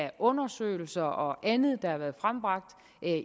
af undersøgelser og andet der har været frembragt